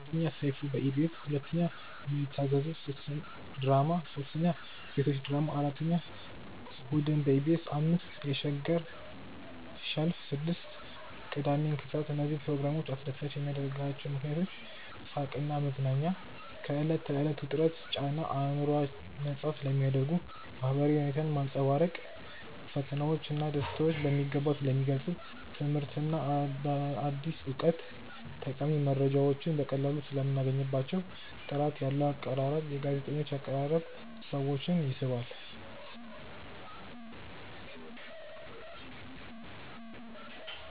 1. ሰይፉ በኢቢኤስ 2. ምን ይታዘዙ ድራማ 3. ቤቶች ድራማ 4. እሁድን በኢቢኤስ 5. የሸገር ሸልፍ 6. ቅዳሜን ከሰዓት እነዚህን ፕሮግራሞች አስደሳች የሚያደርጓቸው ምክንያቶች፦ . ሳቅና መዝናኛ፦ ከዕለት ተዕለት ውጥረትና ጫና አእምሮን ነፃ ስለሚያደርጉ። . ማህበራዊ እውነታን ማንፀባረቅ፦ ፈተናዎች ና ደስታዎች በሚገባ ስለሚገልፁ። . ትምህርትና አዲስ እውቀት፦ ጠቃሚ መረጃዎችን በቀላሉ ሰለምናገኝባቸው። . ጥራት ያለው አቀራረብ፦ የጋዜጠኞች አቀራረብ ሰዎችን ይስባል።